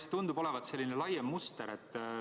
See tundub olevat selline laiem muster.